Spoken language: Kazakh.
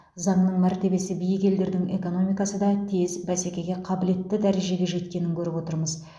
заңның мәртебесі биік елдердің экономикасы да тез бәсекеге қабілетті дәрежеге жеткенін көріп отырмыз